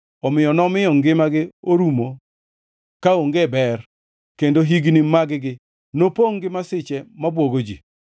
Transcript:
Omiyo nomiyo ngimagi orumo kaonge ber kendo higni mag-gi nopongʼ gi masiche mabwogo ji.